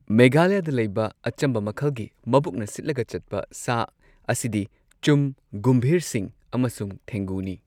ꯃꯦꯘꯥꯂꯌꯥꯗ ꯂꯩꯕ ꯑꯆꯝꯕ ꯃꯈꯜꯒꯤ ꯃꯕꯨꯛꯅ ꯁꯤꯠꯂꯒ ꯆꯠꯄ ꯁꯥ ꯑꯁꯤꯗꯤ ꯆꯨꯝ, ꯒꯨꯝꯚꯤꯔꯁꯤꯡ ꯑꯃꯁꯨꯡ ꯊꯦꯡꯒꯨꯅꯤ꯫